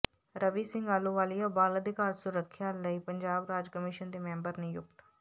ਰਵੀ ਸਿੰਘ ਆਹਲੂਵਾਲੀਆ ਬਾਲ ਅਧਿਕਾਰ ਸੁਰੱਖਿਆ ਲਈ ਪੰਜਾਬ ਰਾਜ ਕਮਿਸ਼ਨ ਦੇ ਮੈਂਬਰ ਨਿਯੁਕਤ